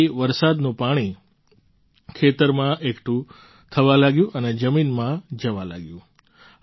તેનાથી વરસાદનું પાણી ખેતરમાં એકઠું થવા લાગ્યું અને જમીનમાં જવા લાગ્યું